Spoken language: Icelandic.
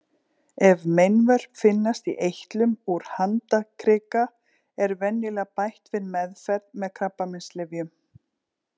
Ef meinvörp finnast í eitlum úr handarkrika er venjulega bætt við meðferð með krabbameinslyfjum.